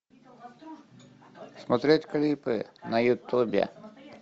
смотреть клипы на ютубе